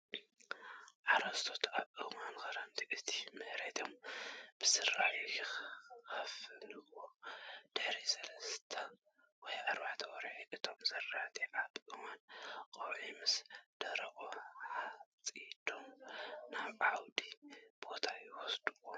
ሓረስቶት ኣብ እዋን ክረምቲ ነቲ መሬቶም ብዘራእቲ ይሽፍንዎ። ድሕሪ 3ተ ወይ 4ተ ወርሒ እቶም ዘራእቲ ኣብ እዋን ቆውዒ ምስ ደረቁ ሓፂዶም ናብ ዓውዲ ቦታ ይወስድዎ።